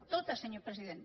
tota senyor president